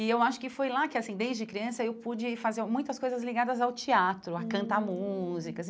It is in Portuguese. E eu acho que foi lá que assim, desde criança, eu pude fazer muitas coisas ligadas ao teatro, a cantar músicas.